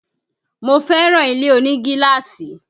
Mo fẹ́ràn ilé oní gíláàsì